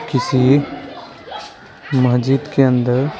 किसी मस्जिद के अंदर --